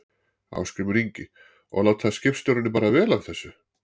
Ásgrímur Ingi: Og láta skipstjórarnir bara vel af þessu?